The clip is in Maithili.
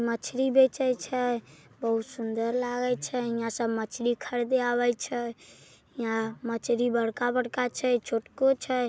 मछली बेचे छै बहुत सुंदर लागे छै हीया सब मछली खरीदे आवे छै हीया मछली बड़का-बड़का छै छोटको छै।